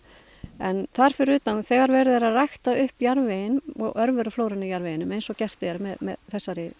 en þar fyrir utan að þegar verið er að rækta upp jarðveginn og örveruflóruna í jarðveginum eins og gert er með þessari